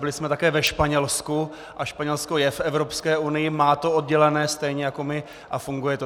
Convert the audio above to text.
Byli jsme také ve Španělsku a Španělsko je v Evropské unii, má to oddělené stejně jako my a funguje to.